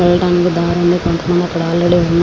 వెళ్ళడానికి దారులు ఆల్రెడీ కొంత మంది ఇక్కడ ఉన్నారు.